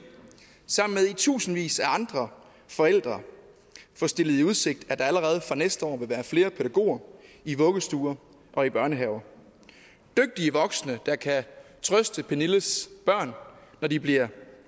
sammen med tusindvis af andre forældre få stillet i udsigt at der allerede fra næste år vil være flere pædagoger i vuggestuer og i børnehaver dygtige voksne der kan trøste pernilles børn når de bliver